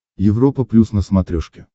европа плюс на смотрешке